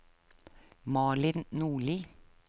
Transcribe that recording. Malin Nordli